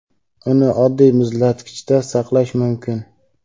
Uni oddiy muzlatkichda saqlash mumkin.